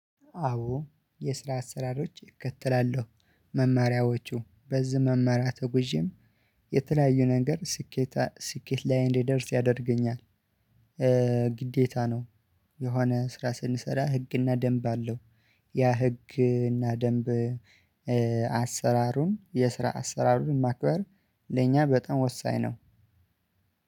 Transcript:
አዎ የስራ አሰራሮች እከተላለሁ። መማሪያዎቹ በዚህ መማሪያ ተጉዤም የተለያዩ ነገር ስኬት ስኬት ላይ እንዲደርስ ያደርገኛል ግዴታ ነው። የሆነ ስራ ስንሰራ ህግና ደንብ አለው። ያ ህግና ደንብ አሰራሩን የስራ አሰራሩን ማክበር ለእኛ በጣም ወሳኝ ነው።